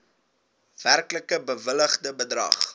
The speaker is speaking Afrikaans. werklik bewilligde bedrag